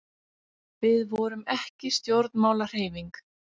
Við vorum ekki stjórnmálahreyfing.